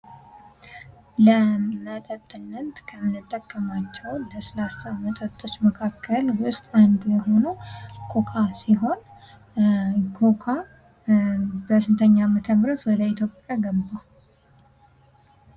ለመጠጥነት ከምጠቀማቸው ለስላሳ መጠጦች መካከል አንዱ የሆነው ኮካ ሲሆን ክክ በስንተኛው ዓመተ ምህረት ወደ ኢትዮጵያ ገባ?